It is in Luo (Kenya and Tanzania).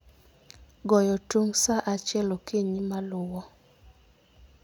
Goyo tung ' sa achiel okinyi maluwo